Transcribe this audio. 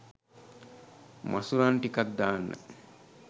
මසුරන් ටිකක් දාන්න